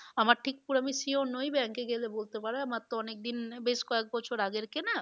আমার ঠিক পুরো আমি sure নোই bank এ গেলে বলতে পারবে। আমার তো অনেক দিন বেশ কয়েক বছর আগের কেনা